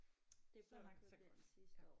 Så langt så godt